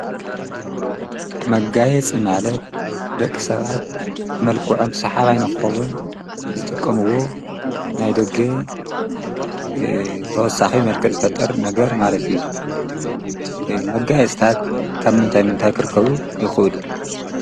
መጋየጽ ማለት ደቂ ሰብኣት መልኩዖም ሰሓባኣይንኾውን ዝጥቆምዎ ናይ ደገ ተወሳኺ መልከ ዝፈጥር ነገር ማለት እዩ። መጋይጽታት ካብ ምንታይ ምንታይ ክርከቡ ይኽእሉ?